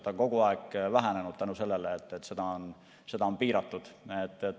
See on kogu aeg vähenenud tänu sellele, et seda on piiratud.